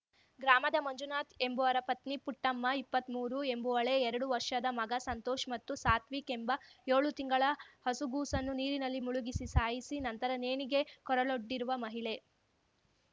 ಗ್ರಾಮದ ಮಂಜುನಾಥ್‌ ಎಂಬುವರ ಪತ್ನಿ ಪುಟ್ಟಮ್ಮಇಪ್ಪತ್ಮೂರು ಎಂಬುವಳೇ ಎರಡು ವರ್ಷದ ಮಗ ಸಂತೋಷ್‌ ಮತ್ತು ಸಾತ್ವಿಕ್‌ ಎಂಬ ಯೋಳು ತಿಂಗಳ ಹಸುಗೂಸನ್ನು ನೀರಿನಲ್ಲಿ ಮುಳುಗಿಸಿ ಸಾಯಿಸಿ ನಂತರ ನೇಣಿಗೆ ಕೊರಳೊಡ್ಡಿರುವ ಮಹಿಳೆ